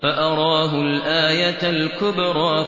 فَأَرَاهُ الْآيَةَ الْكُبْرَىٰ